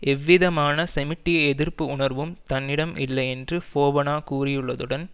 எவ்விதமான செமிட்டிய எதிர்ப்பு உணர்வும் தன்னிடம் இல்லை என்று ஃபோபனா கூறியுள்ளதுடன்